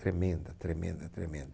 Tremenda, tremenda, tremenda.